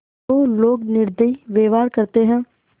जो लोग निर्दयी व्यवहार करते हैं